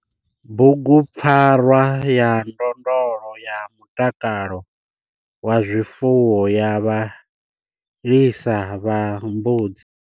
Bugupfarwa ya ndondolo ya mutakalo wa zwifuwo ya vhalisa vha mbudzi.